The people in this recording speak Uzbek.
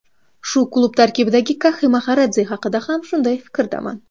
Shu klub tarkibidagi Kaxi Maxaradze haqida ham shunday fikrdaman.